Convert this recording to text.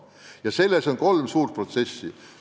Ja käivitatud on mitu suurt protsessi.